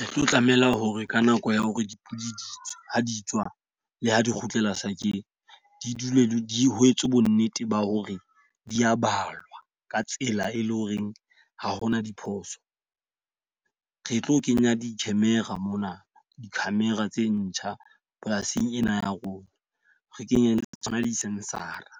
Re tlo tlameha hore ka nako ya hore dipudi di tswa ha di tswa, le ha di kgutlela sa ke di dule di ho etswe bo nnete ba hore di a balwa ka tsela e leng hore ha hona diphoso. Re tlo kenya di-camera mona di-camera tse ntjha polasing ena ya rona. Re kenye le tsona di-sensor-a re